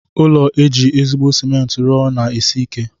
Ụlọ eji ezigbo cement rụọ na-esi ike.